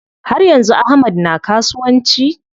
Har yanzu Ahmad na kasuwanci?